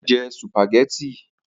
Ó fẹ́ jẹ sùpàgẹ́tì